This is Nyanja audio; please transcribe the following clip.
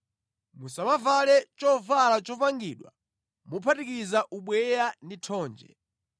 Musamavale chovala chopangidwa mophatikiza ubweya ndi thonje.